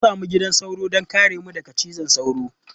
Na sami gidan sauro don kare mu daga cizon sauro.